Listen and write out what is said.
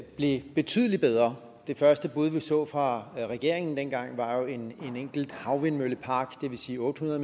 blev betydelig bedre det første bud vi så fra regeringen dengang var jo en enkelt havvindmøllepark det vil sige otte hundrede